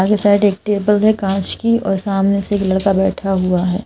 सामने साइड एक टेबल है कांच की और सामने से बैठा हुआ है।